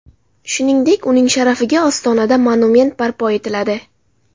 Shuningdek, uning sharafiga Ostonada monument barpo etiladi.